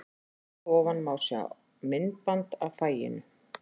Hér að ofan má sjá myndband af fagninu.